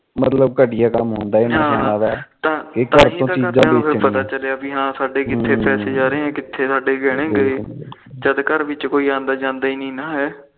ਤਾਹੀ ਤਾ ਘਰ ਪਤਾ ਚੱਲਿਆ ਕ ਸਾਡੇ ਕਿਥੇ ਪੈਸੇ ਜਾ ਰਹੇ ਸਾਡੇ ਕਿਥੇ ਗਹਿਣੇ ਗਏ ਜਦ ਘਰ ਵਿੱਚ ਕੋਈ ਆਂਦਾ ਜਾਂਦਾ ਨੀ ਹੈ